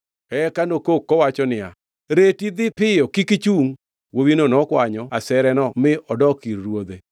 Eka nokok kowacho niya, “Reti! Dhi piyo! Kik ichungʼ!” Wuowino nokwanyo asereno mi odok ir ruodhe.